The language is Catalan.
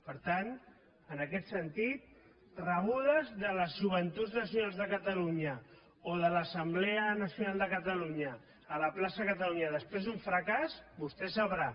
per tant en aquest sentit rebudes de les joventuts nacionals de catalunya o de l’assemblea nacional de catalunya a la plaça catalunya després d’un fracàs vostè sabrà